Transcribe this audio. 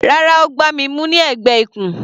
Rárá, Ó gbá mi mú ní ẹ̀gbẹ́ ikùn.